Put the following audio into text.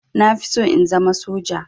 Na fi so in zama soja